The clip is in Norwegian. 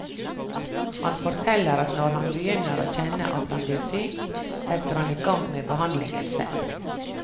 Han forteller at når han begynner å kjenne at han blir syk, setter han i gang med behandling selv.